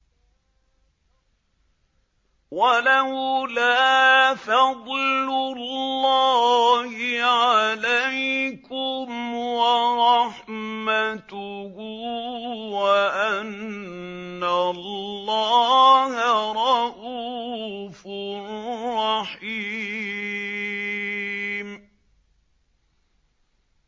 وَلَوْلَا فَضْلُ اللَّهِ عَلَيْكُمْ وَرَحْمَتُهُ وَأَنَّ اللَّهَ رَءُوفٌ رَّحِيمٌ